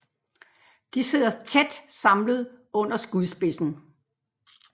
De sidder tæt samlet under skudspidsen